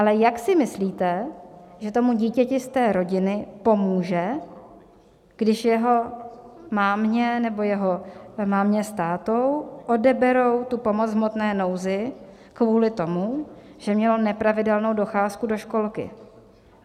Ale jak si myslíte, že tomu dítěti z té rodiny pomůže, když jeho mámě nebo jeho mámě s tátou odeberou tu pomoc v hmotné nouzi kvůli tomu, že mělo nepravidelnou docházku do školky?